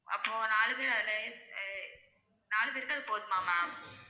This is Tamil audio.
அப்போ நாலு பேரு அதுலே யே நாலு பேருக்கு அது போதுமா ma'am